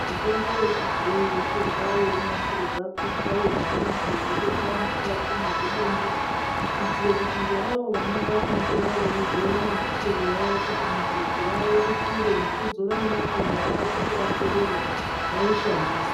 Mitombo yechibhoyi yotorwa yeyinasirwa kuitwa yechiyungu yeyi bekwa nemukati mwezvidumbu kuitire kuti ngeavo vanoda kuitora veidzora nemisoro yavo kuti mubvudzi ravo rikure nekudzora nemakanda avo aserere vaishandise.